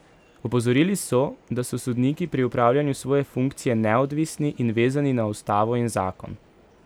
Opozorili so, da so sodniki pri opravljanju svoje funkcije neodvisni in vezani na ustavo in zakon.